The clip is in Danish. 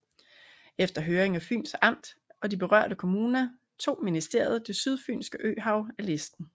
Efter høring af Fyns Amt og de berørte kommuner tog ministeriet Det Sydfynske Øhav af listen